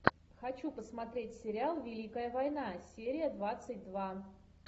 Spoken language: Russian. хочу посмотреть сериал великая война серия двадцать два